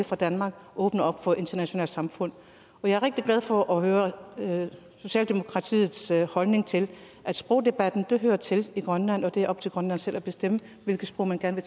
fra danmark og åbner op for det internationale samfund og jeg er rigtig glad for at høre socialdemokratiets holdning til at sprogdebatten hører til i grønland og at det er op til grønland selv at bestemme hvilket sprog man gerne